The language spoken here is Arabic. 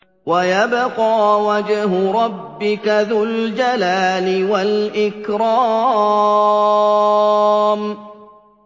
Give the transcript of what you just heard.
وَيَبْقَىٰ وَجْهُ رَبِّكَ ذُو الْجَلَالِ وَالْإِكْرَامِ